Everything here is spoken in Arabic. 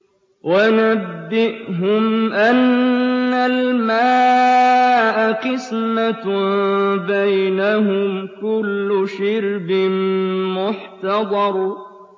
وَنَبِّئْهُمْ أَنَّ الْمَاءَ قِسْمَةٌ بَيْنَهُمْ ۖ كُلُّ شِرْبٍ مُّحْتَضَرٌ